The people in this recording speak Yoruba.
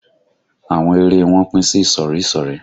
Àwọn ère e wọn pín sí ìsọ̀rí ìsọ̀rí